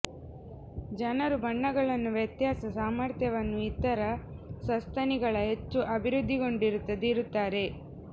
ಜನರು ಬಣ್ಣಗಳನ್ನು ವ್ಯತ್ಯಾಸ ಸಾಮರ್ಥ್ಯವನ್ನು ಇತರ ಸಸ್ತನಿಗಳ ಹೆಚ್ಚು ಅಭಿವೃದ್ದಿಗೊಂಡಿರುತ್ತದೆ ಇರುತ್ತಾರೆ